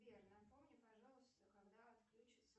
сбер напомни пожалуйста когда отключится